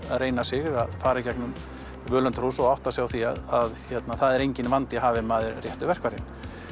reyna sig við að fara í gegnum völundarhús og átta sig á því að það er enginn vandi hafi maður réttu verkfærin